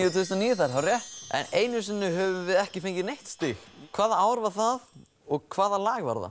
þúsund og níu það er hárrétt einu sinni höfum við ekki fengið neitt stig hvaða ár var það og hvaða lag var það